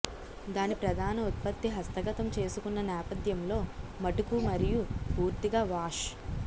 దాని ప్రధాన ఉత్పత్తి హస్తగతం చేసుకున్న నేపథ్యంలో మటుకు మరియు పూర్తిగా వాష్